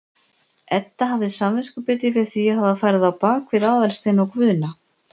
Edda hafði samviskubit yfir því að hafa farið á bak við Aðalstein og Guðna.